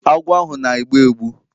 Agwọ ahu na-egbu egbu